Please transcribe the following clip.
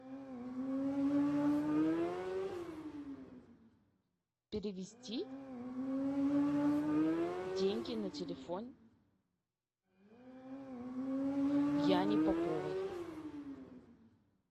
перевести деньги на телефон яне поповой